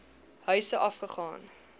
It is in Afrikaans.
huise af gegaan